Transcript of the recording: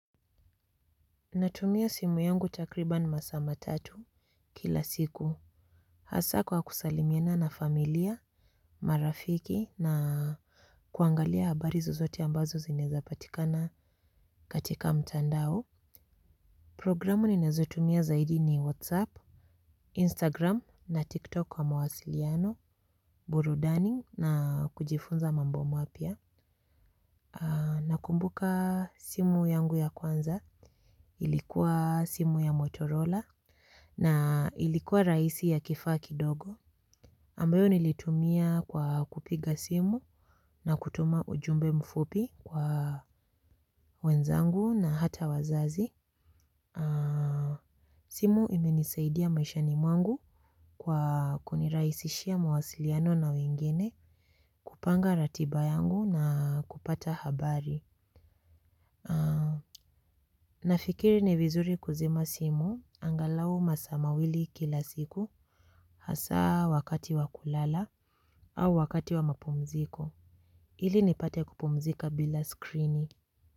Natumia simu yangu takriban masaa matatu kila siku. Hasa kwa kusalimiana na familia, marafiki na kuangalia habari zozote ambazo zinezapatikana katika mtandao. Programu nenazotumia zaidi ni whatsapp, instagram na tiktok kwa mawasiliano, burudani na kujifunza mambo mapya. Nakumbuka simu yangu ya kwanza ilikuwa simu ya motorola. Na ilikuwa raisi ya kifaa kidogo. Ambayo nilitumia kwa kupiga simu na kutuma ujumbe mfupi kwa wenzangu na hata wazazi. Simu imenisaidia maishani mwangu kwa kuniraisishia mwasiliano na wengine kupanga ratiba yangu na kupata habari. Nafikiri ni vizuri kuzima simu angalau maasa mawili kila siku hasa wakati wa kulala au wakati wa mapumziko. Ili nipate kupumzika bila skrini.